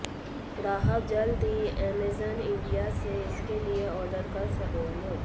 ग्राहक जल्द ही अमेजन इंडिया से इसके लिए आर्डर कर सकेंगे